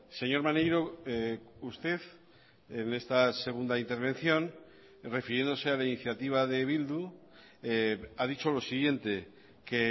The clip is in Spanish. señor maneiro usted en esta segunda intervención refiriéndose a la iniciativa de bildu ha dicho lo siguiente que